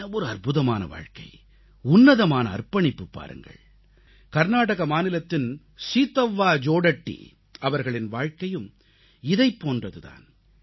என்ன ஒரு அற்புதமான வாழ்க்கை உன்னதமான அர்ப்பணிப்பு பாருங்கள் கர்நாடக மாநிலத்தின் சீதவ்வா ஜோடட்டி அவர்களின் வாழ்க்கையும் இதைப் போன்றது தான்